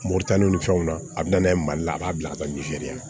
Moritani ni fɛnw na a bi na n'a ye mali la a b'a bila a ka la